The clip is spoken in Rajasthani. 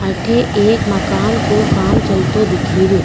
अठे एक मकान को काम चलतो दिखे रियो।